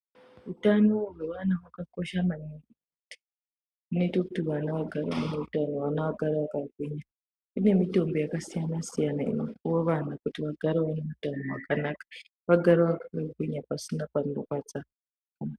Utano hwevana vakakosha maningi zvinoita kuti vana vagare vane utano vana vagare vakagwinya. Kune mitombo yakasiyana-siyana, inopuva vana kuti vagare vane utano hwakanaka vagare vakagwinya pasina panorwadza.